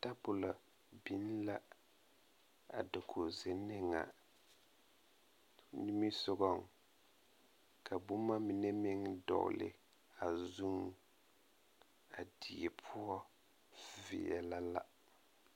tabolɔ biŋ la a dakogzenne ŋa niŋesogaŋ ka boma mine meŋ dɔgle a zuŋ a die poɔ veɛlɛ la.